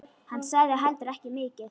Hann sagði heldur ekki mikið.